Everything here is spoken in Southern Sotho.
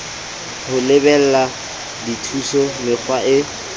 ho lebela dithuso mekga e